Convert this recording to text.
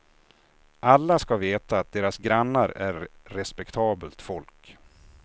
Alla ska veta att deras grannar är respektabelt folk.